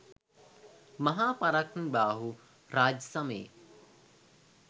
මහා පරාක්‍රමබාහු රාජ්‍ය සමයේ